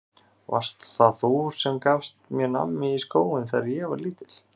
Varst það þú sem gafst mér nammi í skóinn þegar ég var lítill?